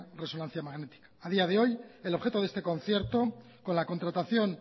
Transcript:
resonancia magnética a día de hoy el objeto de este concierto con la contratación